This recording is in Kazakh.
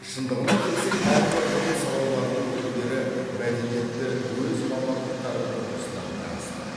шындығына келсек әрбір ғылым салаларының өкілдері мәдениетті өз мамандықтары тұрғысынан қарастырады